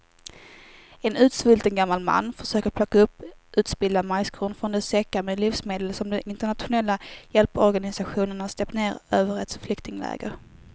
En utsvulten gammal man försöker plocka upp utspillda majskorn från de säckar med livsmedel som de internationella hjälporganisationerna släppt ner över ett flyktingläger.